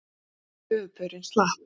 En höfuðpaurinn slapp.